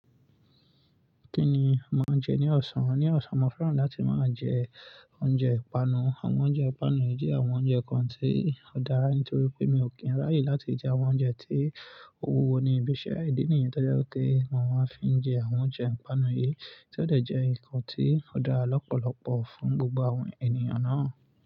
Kíni máa n jẹ ní ọ̀sán? Ní ọ̀sán, mo fẹ́ràn láti máa jẹ oúnjẹ ìpanu. Àwọn oúnjẹ ìpanu yìí jẹ́ àwọn oúnjẹ kan tí ó dára nítorí pé mi ò kí ń ráyè láti jẹ àwọn oúnjẹ tí òwú wo ní ibiṣẹ́. Ìdí nìyí tó jẹ́ wípé mo máa n fi jẹ àwọn oúnjẹ ìpanu yì tí ó dẹ̀ jẹ́ ǹkan tí ó dára lọ́pọ̀lọpọ̀ fún gbogbo àwọn ènìyàn ná.